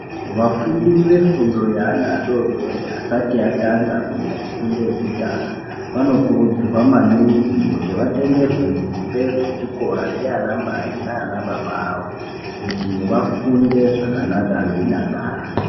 Vafundi vefundo yevana vadodori asati atanga kuita kufunda yekutanga vanokurudzirwa maningi kuti vatengerwe hembe dzechikora ndiana namai nana baba avo kuti vafunde zvakanaka veidakara.